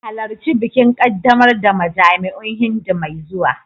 Halarci bikin ƙaddamar da majami'un Hindu mai zuwa